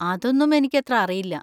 അതൊന്നും എനിക്കത്ര അറിയില്ല.